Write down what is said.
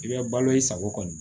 I bɛ balo i sago kɔni